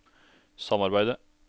samarbeidet